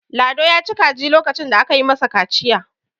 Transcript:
lado ya ci kaji lokacin da aka yi masa kaciya